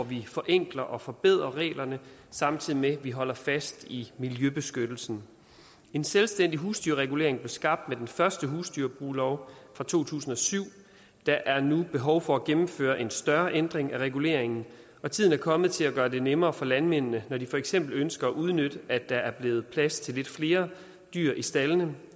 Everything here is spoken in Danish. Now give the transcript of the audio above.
vi forenkler og forbedrer reglerne samtidig med at vi holder fast i miljøbeskyttelsen en selvstændig husdyrregulering blev skabt med den første husdyrbruglov fra to tusind og syv der er nu behov for at gennemføre en større ændring af reguleringen og tiden er kommet til at gøre det nemmere for landmændene når de for eksempel ønsker at udnytte at der er blevet plads til lidt flere dyr i staldene